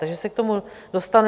Takže se k tomu dostanu.